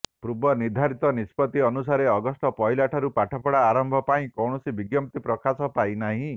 ପୂର୍ବ ନିର୍ଧାରିତ ନିଷ୍ପତ୍ତି ଅନୁସାରେ ଅଗଷ୍ଟ ପହିଲାରୁ ପାଠପଢ଼ା ଆରମ୍ଭ ପାଇଁ କୌଣସି ବିଜ୍ଞପ୍ତି ପ୍ରକାଶ ପାଇନାହିଁ